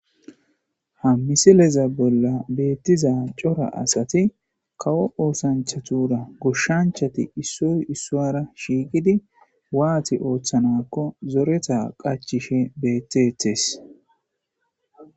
ha misileza bolla beettiza cora asati kawo oosanchatura gushshanchati issoy issuara shiiqidi waati ooththanakko zoreta qachishe bettetes